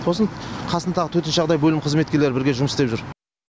сосын қасындағы төтенше жағдай бөлім қызметкерлері бірге жұмыс істеп жүр